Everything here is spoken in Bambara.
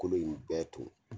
Kolo in bɛɛ ton.